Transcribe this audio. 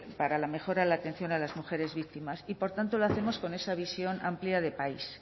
para la mejora en la atención a las mujeres víctimas y por tanto lo hacemos con esa visión amplia de país